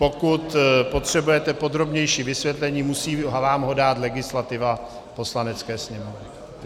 Pokud potřebujete podrobnější vysvětlení, musí vám ho dát legislativa Poslanecké sněmovny.